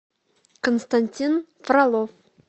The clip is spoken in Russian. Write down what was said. константин фролов